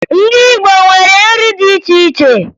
Ndị Igbo nwere nri dị iche iche